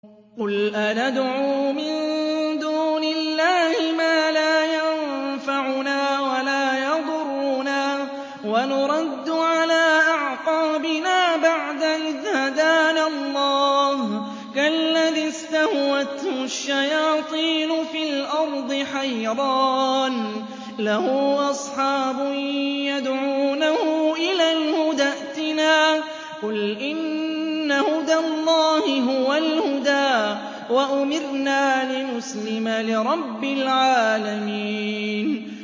قُلْ أَنَدْعُو مِن دُونِ اللَّهِ مَا لَا يَنفَعُنَا وَلَا يَضُرُّنَا وَنُرَدُّ عَلَىٰ أَعْقَابِنَا بَعْدَ إِذْ هَدَانَا اللَّهُ كَالَّذِي اسْتَهْوَتْهُ الشَّيَاطِينُ فِي الْأَرْضِ حَيْرَانَ لَهُ أَصْحَابٌ يَدْعُونَهُ إِلَى الْهُدَى ائْتِنَا ۗ قُلْ إِنَّ هُدَى اللَّهِ هُوَ الْهُدَىٰ ۖ وَأُمِرْنَا لِنُسْلِمَ لِرَبِّ الْعَالَمِينَ